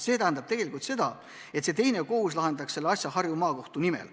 See tähendaks tegelikult seda, et see teine kohus lahendaks selle asja Harju Maakohtu nimel.